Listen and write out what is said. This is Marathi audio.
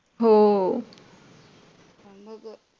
हो